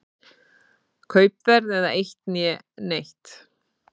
Kaupverð eða eitt né neitt.